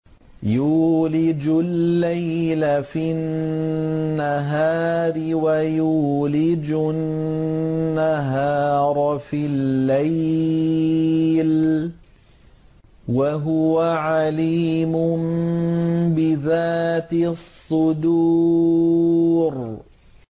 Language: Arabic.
يُولِجُ اللَّيْلَ فِي النَّهَارِ وَيُولِجُ النَّهَارَ فِي اللَّيْلِ ۚ وَهُوَ عَلِيمٌ بِذَاتِ الصُّدُورِ